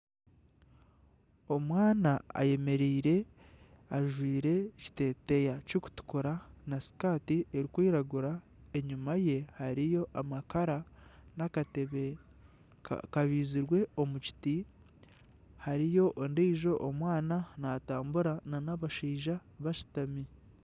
Omwana ayemereire ajwaire ekiteteeya kirikutukura na sikati erikwiragura enyuma ye hariyo amakara n'akatebe kabaizirwe omu kiti hariyo ondiijo omwana natambura nana abashaija bashutami.